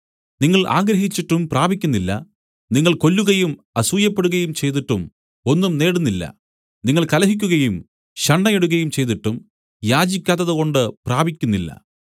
നിങ്ങൾ ആഗ്രഹിച്ചിട്ടും പ്രാപിക്കുന്നില്ല നിങ്ങൾ കൊല്ലുകയും അസൂയപ്പെടുകയും ചെയ്തിട്ടും ഒന്നും നേടുന്നില്ല നിങ്ങൾ കലഹിക്കുകയും ശണ്ഠയിടുകയും ചെയ്തിട്ടും യാചിക്കാത്തതുകൊണ്ട് പ്രാപിക്കുന്നില്ല